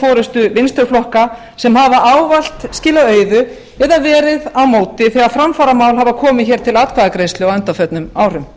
forustu vinstri flokka sem hafa ávallt skilað auðu eða verið á móti þegar framfaramál hafa komið til atkvæðagreiðslu á undanförnum árum